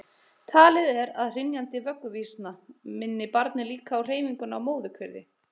Talið er að hrynjandi vögguvísna minni barnið líka á hreyfinguna í móðurkviði.